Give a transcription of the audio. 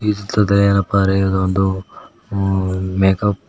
ಈ ಚಿತ್ರದಲ್ಲಿರುವ ಏನಪ್ಪಾ ಅರಿಯುವುದ ಮೇಕಪ್--